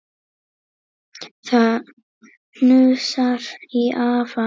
Það hnussar í afa.